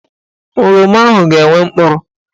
Oroma ahụ ga-enwe mkpụrụ.